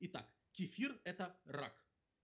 и так кефир это рак